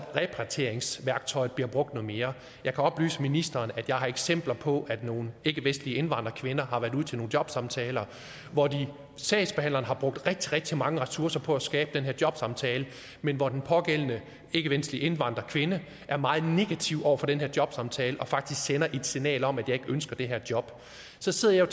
repatrieringsværktøjet blev brugt noget mere jeg kan oplyse ministeren at jeg har eksempler på at nogle ikkevestlige indvandrerkvinder har været ude til nogle jobsamtaler hvor sagsbehandleren har brugt rigtig rigtig mange ressourcer på at skabe den her jobsamtale men hvor den pågældende ikkevestlige indvandrerkvinde er meget negativ over for den her jobsamtale og faktisk sender et signal om at hun ikke ønsker det her job så sidder jeg